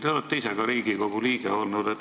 Te olete ka ise Riigikogu liige olnud.